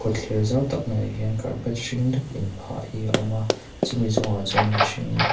kawtthler zau tak maiah hian carpet hring dup inphah hi awm a chumi chungah chuan mihring--